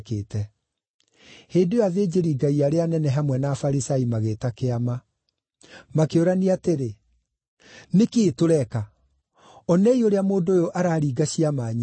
Hĩndĩ ĩyo athĩnjĩri-Ngai arĩa anene hamwe na Afarisai magĩĩta Kĩama. Makĩũrania atĩrĩ, “Nĩ kĩĩ tũreka? Onei ũrĩa mũndũ ũyũ araringa ciama nyingĩ.